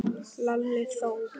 Lalli þó!